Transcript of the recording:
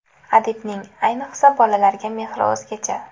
Adibning, ayniqsa bolalarga mehri o‘zgacha.